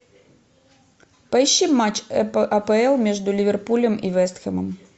поищи матч апл между ливерпулем и вест хэмом